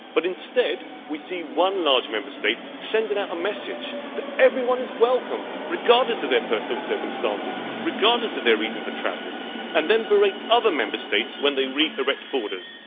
Instead, we see one large Member State sending out a message that everyone is welcome regardless of their personal circumstances or their reason for travelling and then berating other Member States when they re erect borders.